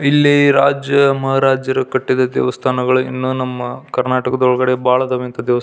ಇಲ್ಲಿ ರಾಜ ಮಹಾರಾಜರು ಕಟ್ಟಿದಂಥ ದೇವಸ್ಥಾನಗಳು ಇನ್ನು ನಮ್ಮ ಕರ್ನಾಟಕದ ಒಳಗಡೆ ಬಹಳ ಅದವೇ ಇಂಥ --